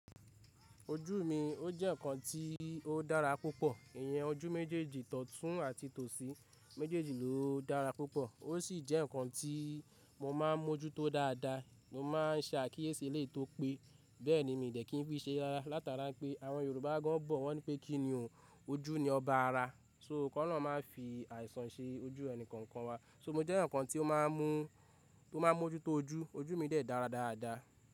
Ojú mi ó jẹ́ nǹkan tí ó dára púpọ̀. Ìyẹn ojú méjèèjì tọ̀tún àti tòsí méjèèjì ló dára púpọ̀. Ó ṣì jẹ́ nǹkan tí mo máa ń mójútó dáadáa, mo má a ń ṣe àkíyèsí e léè tó pé, bẹ́ẹ̀ ni mi dẹ̀ ki n fi ṣé re rára látara pé àwọn Yorùbá gan bọ̀ wọ́n ní pé kí ni o, ojú ni ọba ara. So kan náà máa fi àìsàn ṣe ojú ẹni kanjan wa. So mo jẹ́ nǹkan tí ó máa ń mú, tó máa ń mójútó ojú. Ojú mi dẹ̀ dára dáadáa.